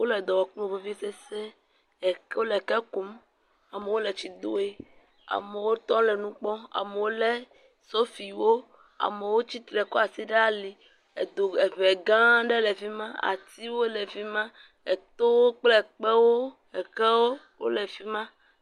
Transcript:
Wole dɔ wɔm kple vivisese, eke wole eke kum, amewo le tsi doe, amewo tɔ le nu kpɔm, amewo lé sofiwo, amewo tsitre kɔ asi ɖe ali, edo eŋe gã aɖe le fi ma, atiwo le fi ma, etowo kple kpewo, ekewo le fi ma.